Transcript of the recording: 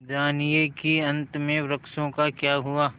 जानिए कि अंत में वृक्षों का क्या हुआ